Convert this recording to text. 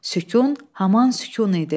Sükun, haman sükun idi.